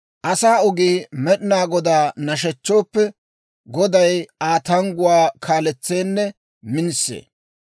Asaa ogii Med'inaa Godaa nashechchooppe, Goday Aa tangguwaa kaaletseenne minisee.